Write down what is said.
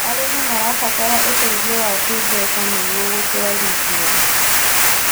Arĩmĩ marabatara ũteĩthĩo wa kĩmbeca nĩũgo gũtwarĩthĩa